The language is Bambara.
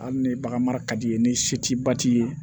Hali ni bagan mara ka d'i ye ni se t'i ba ti ye